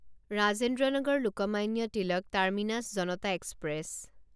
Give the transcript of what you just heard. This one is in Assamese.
Rajendra Nagar Lokmanya Tilak terminus Janata express